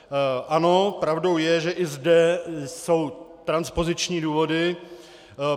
Ano, pravdou je, že i zde jsou transpoziční důvody.